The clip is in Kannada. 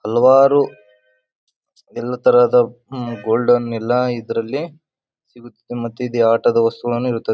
ಹಲವಾರು ಎಲ್ಲ ತರಹದ ಗೋಲ್ಡನ್ ಇಲ್ಲ ಇದರಲ್ಲಿ ಮತ್ತೆ ಇದು ಆಟದ ವಸ್ತುವನ್ನು ಇರುತ್ತದೆ.